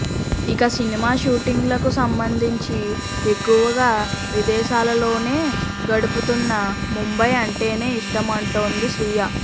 ఇక సినిమా షూటింగ్లకు సంబంధించి ఎక్కువగా విదేశాల్లోనే గడుపుతున్నా ముంబై అంటేనే ఇష్టమంటోంది శ్రియ